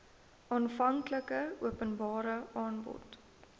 aanvanklike openbare aanbod